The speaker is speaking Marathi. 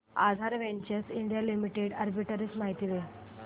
आधार वेंचर्स इंडिया लिमिटेड आर्बिट्रेज माहिती दे